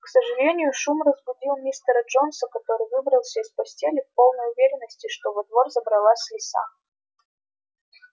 к сожалению шум разбудил мистера джонса который выбрался из постели в полной уверенности что во двор забралась лиса